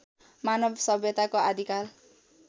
मानव सभ्यताको आदिकाल